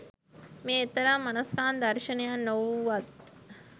මෙය එතරම් මනස්කාන්ත දර්ශනයක් නොවුවත්